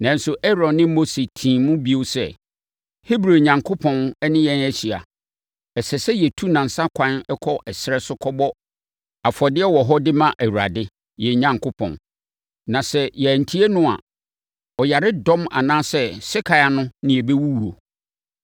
Nanso, Aaron ne Mose tii mu bio sɛ, “Hebri Onyankopɔn ne yɛn ahyia. Ɛsɛ sɛ yɛtu nnansa ɛkwan kɔ ɛserɛ so kɔbɔ afɔdeɛ wɔ hɔ de ma Awurade, yɛn Onyankopɔn. Na sɛ yɛantie no a, ɔyaredɔm anaa sekan ano na yɛbɛwuwuo.”